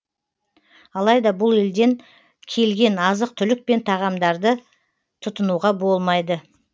алайда бұл елден келген азық түлік пен тағамдарды тұтынуға болмайды